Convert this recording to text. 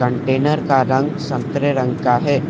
Container रंग संतरे रंग का है।